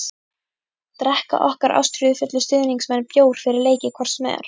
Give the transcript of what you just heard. Drekka okkar ástríðufullu stuðningsmenn bjór fyrir leiki hvort sem er?